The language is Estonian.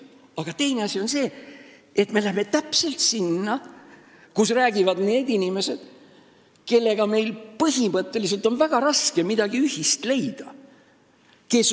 Aga teine asi on see, et me läheme just sinna, kus räägivad need inimesed, kellega meil on põhimõtteliselt väga raske midagi ühist leida.